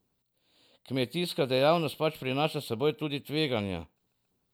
Kmetijska dejavnost pač prinaša s seboj tudi tveganja.